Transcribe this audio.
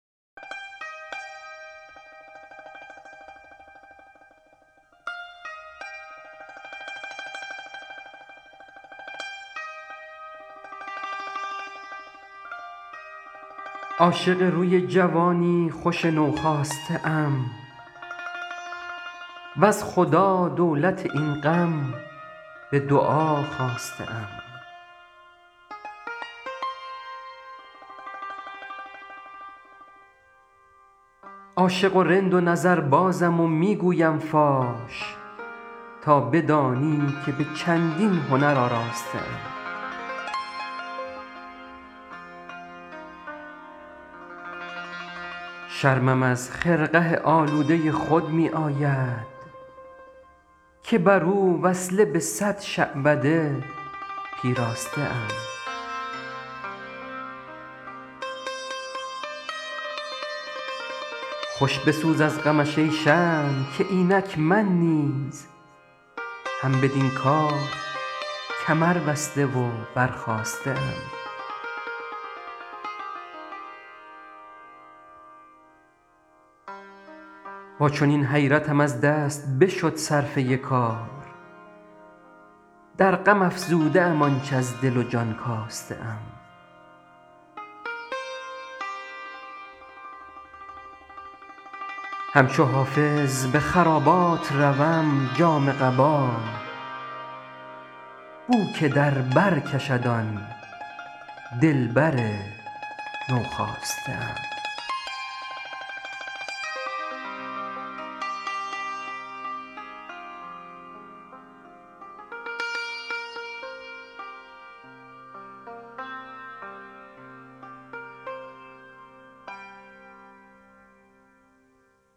عاشق روی جوانی خوش نوخاسته ام وز خدا دولت این غم به دعا خواسته ام عاشق و رند و نظربازم و می گویم فاش تا بدانی که به چندین هنر آراسته ام شرمم از خرقه آلوده خود می آید که بر او وصله به صد شعبده پیراسته ام خوش بسوز از غمش ای شمع که اینک من نیز هم بدین کار کمربسته و برخاسته ام با چنین حیرتم از دست بشد صرفه کار در غم افزوده ام آنچ از دل و جان کاسته ام همچو حافظ به خرابات روم جامه قبا بو که در بر کشد آن دلبر نوخاسته ام